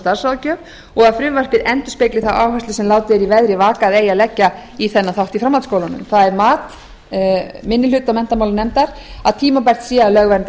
starfsráðgjöf og að frumvarpið endurspegli þá áherslu sem látið er í veðri vaka að eigi að leggja í þennan þátt í framhaldsskólunum það er mat minni hluta menntamálanefndar að tímabært sé að lögvernda